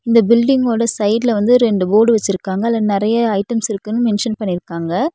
இந்த பில்டிங்கோட சைடுல வந்து ரெண்டு போர்டு வச்சுருக்காங்க அதுல நெறையா ஐட்டம்ஸ் இருக்குன்னு மென்ஷன் பண்ணிருக்காங்க.